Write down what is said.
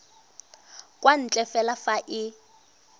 kwa ntle fela fa e